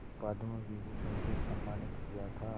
पद्म विभूषण से सम्मानित किया था